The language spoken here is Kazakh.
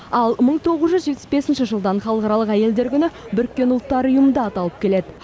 ал мың тоғыз жүз жетпіс бесінші жылдан халықаралық әйелдер күні біріккен ұлттар ұйымында аталып келеді